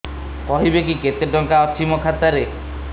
କହିବେକି କେତେ ଟଙ୍କା ଅଛି ମୋ ଖାତା ରେ